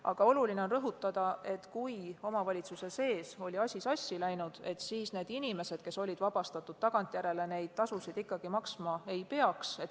Aga oluline on rõhutada, et kui omavalitsuse sees oli asi sassi läinud, siis need inimesed, kes olid maksmisest vabastatud, tagantjärele seda tasu ikkagi maksma ei peaks.